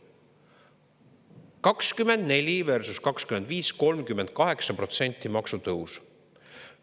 2024 versus 2025 – 38% maksutõusu.